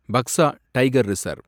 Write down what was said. Buxar tiger reserve